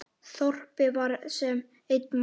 Þorpið var sem einn maður.